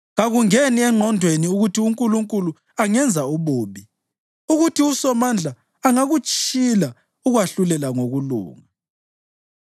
Kakungeni engqondweni ukuthi uNkulunkulu angenza ububi, ukuthi uSomandla angakutshila ukwahlulela ngokulunga.